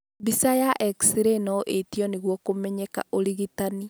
Mbica ya X-ray no ĩtio nĩguo kumenyeka ũrigitani